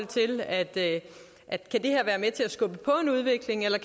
til at skubbe på en udvikling eller